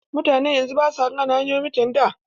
Mutanen yanzu basu gane hanyoyin mutanen da.